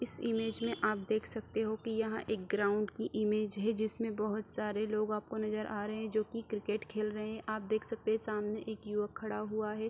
इस इमेज में आप देख सकते हो की यह एक ग्राउंड की इमेज है जिसमें बहुत सारे लोग आपको नज़र आ रहे हैं जो की क्रिकेट खेल रहे हैं आप देख सकते हैं सामने एक युवक खड़ा हुआ है।